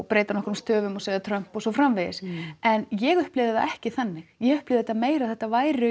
breyta nokkrum stöfum og segja Trump og svo framvegis en ég upplifði það ekki þannig ég upplifði þetta meira að þetta væru